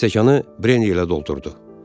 Stəkanı brendi ilə doldurdu.